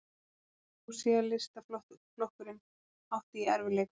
Sósíalistaflokkurinn átti í erfiðleikum.